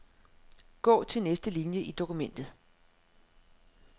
Gå til næste linie i dokumentet.